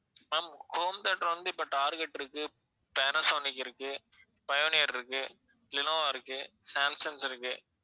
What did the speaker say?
ma'am home theater வந்து இப்ப target இருக்கு, பேனசோனிக் இருக்கு, பயோனியர் இருக்கு, லெனோவா இருக்கு, சாம்சங்ஸ் இருக்கு